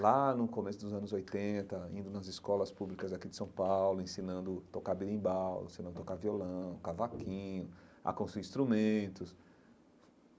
Lá no começo dos anos oitenta, indo nas escolas públicas aqui de São Paulo, ensinando a tocar berimbau, ensinando a tocar violão, cavaquinho, a construir instrumentos.